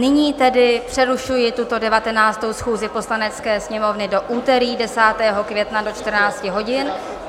Nyní tedy přerušuji tuto 19. schůzi Poslanecké sněmovny do úterý 10. května do 14 hodin.